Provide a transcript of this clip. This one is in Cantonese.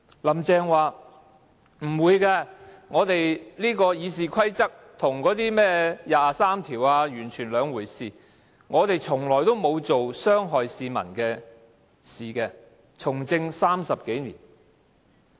"林鄭"說，不會的，《議事規則》跟甚麼第二十三條立法完全是兩回事，她從政30多年，從來沒有做傷害市民的事情。